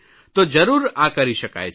તો જરૂર આ કરી શકાય છે